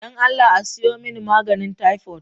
Don Allah a siyo mani maganin taifot.